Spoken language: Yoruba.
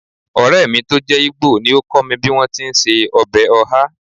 Ọ̀rẹ́ mi tó jẹ́ Igbo ni ó kọ́ mi bí wọ́n ti ń se ọbẹ̀ oha